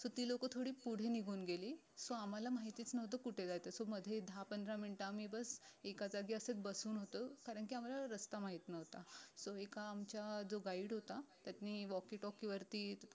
so ती लोक पुढे निघून गेली so आम्हाला माहीतीच नव्हतं की कुठे जायचंय so मध्ये दहा पंधरा मिन्ट आम्ही बस एका जागी असेच बसून होतो कारण की आम्हाला रस्ता माहित नव्हता so एका आमच्या जो guide होता त्यांनी walky talky वरती